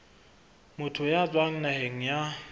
motho ya tswang naheng ya